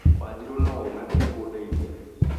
Wanjirũ no ũ na ndekũndeithia